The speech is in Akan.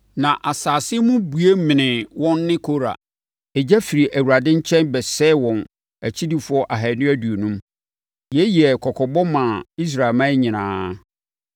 Na asase mu bue menee wɔn ne Kora. Egya firi Awurade nkyɛn bɛsɛee wɔn akyidifoɔ ahanu aduonum. Yei yɛɛ kɔkɔbɔ maa Israelman nyinaa.